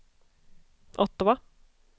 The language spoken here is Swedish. Ottawa